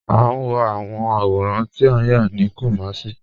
A n wọ awọn awọ̀rán tí a yá ni Kumasi.